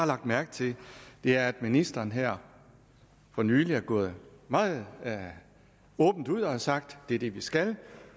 lagt mærke til er at ministeren her for nylig er gået meget åbent ud og har sagt det er det vi skal